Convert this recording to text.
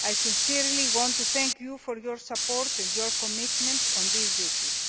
I sincerely want to thank Parliament for your support and your commitment on these issues.